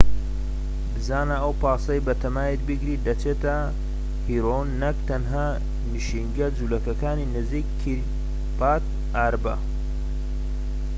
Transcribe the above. بزانە ئەو پاسەی بەتەمایت بیگریت دەچێتە هێبرۆن نەك تەنها نشینگە جولەکەکانی نزیکی کیریات ئاربە